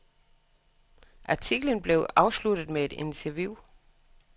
Artiklen blev afsluttet med et interview.